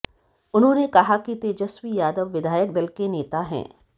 उन्होंने कहा कि तेजस्वी यादव विधायक दल के नेता हैं